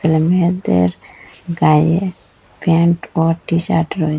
মেয়েদের গায়ে প্যান্ট ও টি শার্ট রয়ে--